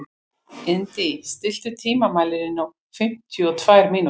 Indí, stilltu tímamælinn á fimmtíu og tvær mínútur.